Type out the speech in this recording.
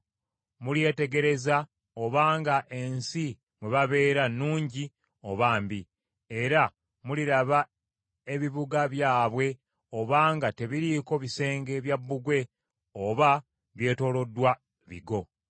Mulyetegereza obanga ensi mwe babeera nnungi oba mbi. Era muliraba ebibuga byabwe obanga tebiriiko bisenge bya bbugwe oba byetooloddwa bigo.